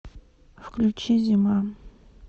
включи зима